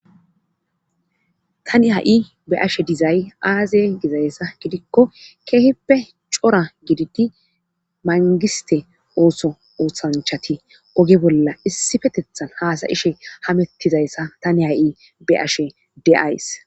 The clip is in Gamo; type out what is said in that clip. Tani ha'i be ashe dizay aaze dizayssa gidikko keeheppe cora gididi mangiste ooso oothanchati oge bolla issifetethan haasayishe hamettizayssa tani ha'i be'ashe de'ays